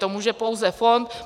To může pouze fond.